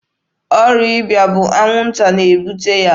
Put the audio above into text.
Ọrịa ịba bụ anwụnta na-ebute ya.